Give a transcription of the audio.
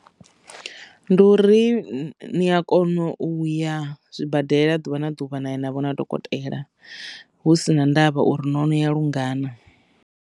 Ndi uri ni a kona uya zwibadela ḓuvha na ḓuvha na navho na dokotela hu si na ndavha uri no no ya lungana.